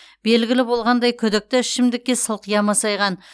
белгілі болғандай күдікті ішімдікке сылқия масайған